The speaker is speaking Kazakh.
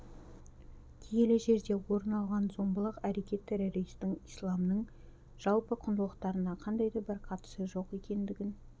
киелі жерде орын алған зомбылық әрекет террористертің исламның жалпы құндылықтарына қандай да бір қатысы жоқ екендігін